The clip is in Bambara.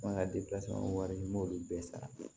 An ka wɔɔrɔ in n b'olu bɛɛ sara